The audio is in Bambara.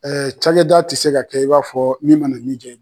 Ɛɛ cakɛda ti se ka kɛ i b'a fɔ min mana min ja